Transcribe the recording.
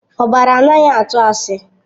Ọbara anaghị atụ asị.